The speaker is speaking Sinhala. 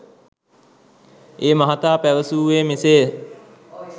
ඒ මහතා පැවසූවේ මෙසේය.